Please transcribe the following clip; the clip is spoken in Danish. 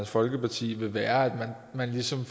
folkeparti ville være at man ligesom